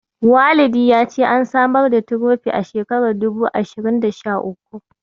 Walidi ya ce an samar da Tirofi a shekarar dubu ashirin da sha uku.